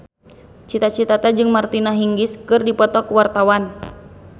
Cita Citata jeung Martina Hingis keur dipoto ku wartawan